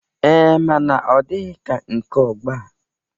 Ee, mana ọ dịghi ka nke ọgbọ a.